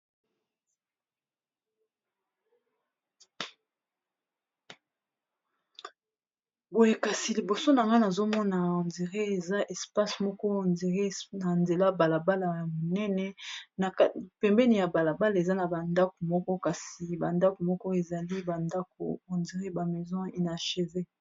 boye kasi liboso na nga nazomona hondira eza espase moko hondire na nzela balabala ya monene a pembeni ya balabala eza na bandaku moko kasi bandaku moko ezali bandako hondiré bamaison unachev